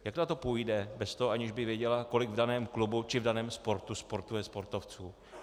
Jak na to půjde bez toho, aniž by věděla, kolik v daném klubu či v daném sportu sportuje sportovců?